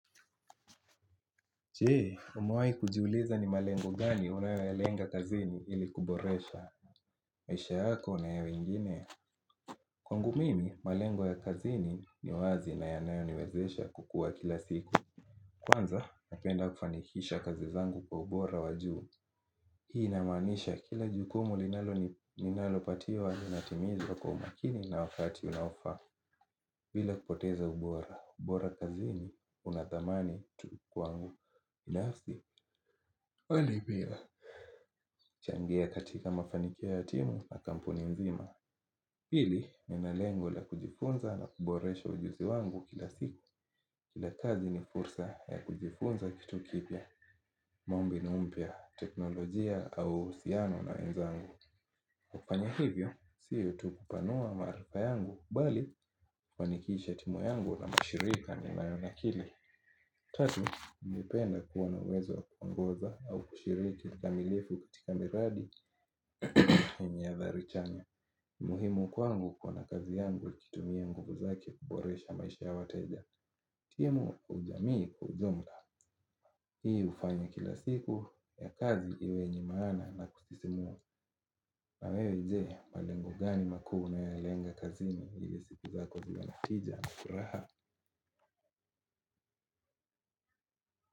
Jee umewai kujiuliza ni malengo gani unayalenga kazini ili kuboresha maisha yako na ya wengine. Kwangu mimi malengo ya kazini ni wazi na yanayo niwezesha kukua kila siku. Kwanza napenda kufanikisha kazi zangu kwa ubora wajuu. Hii inamanisha kila jukumu linalo ninalo patiwa ninatimiza kwa umakini na wakati unaofaa bila kupoteza ubora ubora kazini unathamani kwangu binafsi Wani bila changia katika mafanikio ya timu na kampuni mzima. Hili ninalengo la kujifunza na kuboresha ujuzi wangu kila siku. Kila kazi ni fursa ya kujifunza kitu kipya kugundua mbinu mpya teknolojia au uhusiano na wenzangu. Kufanya hivyo, siyo tu kupanua maarifa yangu bali kufanikisha timu yangu na mashirika ninayo nakili. Tatu, napenda kuwa na uwezo wa kuongoza au kushiriki kamilifu katika miradi ni yenye adhari chanya. Muhimu kwangu kuona kazi yangu ikitumia nguvu zake kuboresha maisha ya wateja. Timu ujamii kiujumla. Hii hufanya kila siku ya kazi iwe yenye maana na kusisimua. Na wewe je, malengo gani makuu una ya lenga kazini ili siku zako ziwe na tija na furaha.